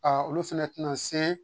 Aa olu fɛnɛ tɛna se